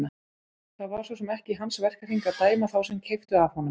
Það var svo sem ekki í hans verkahring að dæma þá sem keyptu af honum.